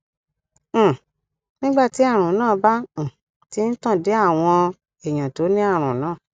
um nígbà tí àrùn náà bá um ti ń tàn dé àwọn èèyàn tó ní àrùn náà